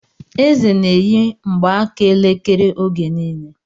Eze n'eyi mgbaaka elekere oge niile